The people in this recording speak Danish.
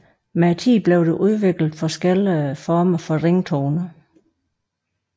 Med tiden blev der udviklet forskellige former for ringetoner